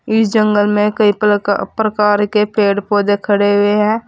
इस जंगल में कई प्र प्रकार के पेड़ पौधे खड़े हुए हैं।